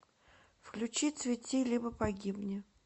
включи цвети либо погибни